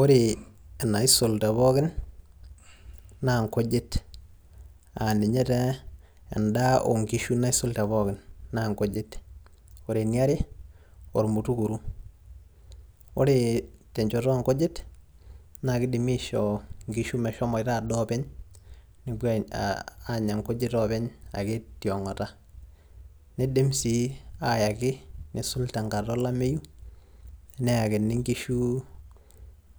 Ore enaisul tepookin, naa inkujit. Ah ninye taa endaa onkishu naisul tepookin, na inkujit. Ore eniare, ormutukuru. Ore tenchoto onkujit, na kidimi aishoo nkishu meshomoita adaa openy, nepuo aanya nkujit openy ake tiong'ata. Niidim si ayaki neisul tenkata olameyu, neyakini nkishu